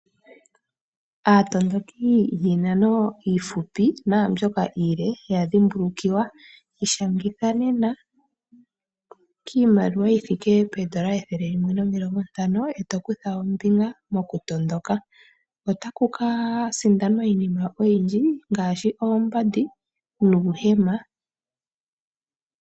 Aatondoki yiinano iifupi naambyoka ilile yadhimbulukiwa. Ishangitha nena kiimaliwa yothike poondola ethele limwe nomilongo ntano, eto kutha ombinga mokutondoka. Otakuka sindanwa iinima oyindji ngaashi oombandi nuuhema.